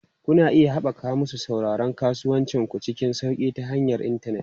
Kuna iya haɓaka masu sauraron kasuwancin ku cikin sauƙi ta hanyar intanet.